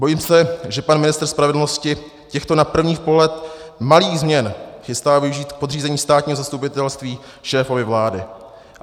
Bojím se, že pan ministr spravedlnosti těchto na první pohled malých změn chystá využít k podřízení státního zastupitelství šéfovi vlády.